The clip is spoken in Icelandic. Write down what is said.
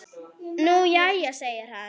Nú jæja segir hann.